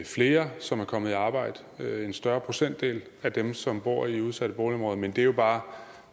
flere som er kommet i arbejde en større procentdel af dem som bor i udsatte boligområder men det er jo bare